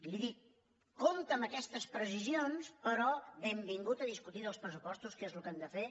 li dic compte amb aquestes precisions però benvingut a discutir dels pressupostos que és el que hem de fer